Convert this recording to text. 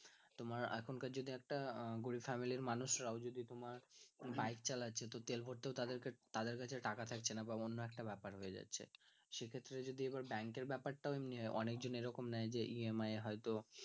তোমার এখনকার যুগে একটা গরীব family এর মানুষরাও যদি তারা bike চালাচ্ছে তাহলে তেল ভারতে ও তাদের কাছে টাকা থাকছে না বা অন্যএকটা ব্যাপার হয়ে যাচ্ছে সেক্ষেত্রে যদি আবার bank এর ব্যাপারটাও অনেকে এরকম নেয় যে EMI তো